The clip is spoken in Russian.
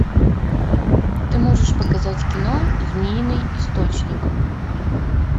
ты можешь показать кино змеиный источник